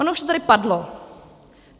Ono už to tady padlo.